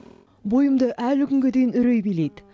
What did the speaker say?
бойымды әлі күнге дейін үрей билейді